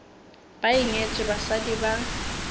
be a nyetše basadi ba